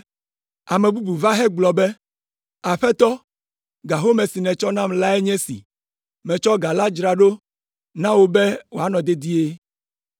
“Ame bubu va hegblɔ be, ‘Aƒetɔ, ga home si nètsɔ nam lae nye esi. Metsɔ ga la dzra ɖo na wò be wòanɔ dedie,